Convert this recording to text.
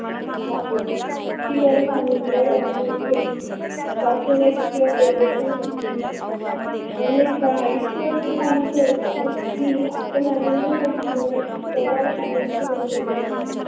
वाटत असत. ती गरज आनंद वाटण्याची असते दाखवण्याची किवा प्रदर्शन करण्याची नसते. अनेकदा आयुष्य अस काही घडत ही आपण आनंद साठी मनाची कावड कायेमची बंद करून टाकतो.